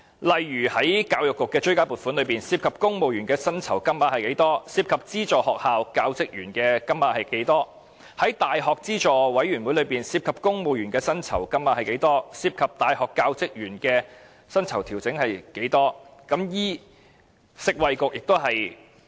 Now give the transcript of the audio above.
例如，在文件中列明教育局的追加撥款之中，涉及公務員薪酬調整的金額、涉及資助學校教職員薪酬調整的金額等；在教資會的追加撥款中，涉及公務員薪酬調整的金額、涉及大學教職員薪酬調整的金額等。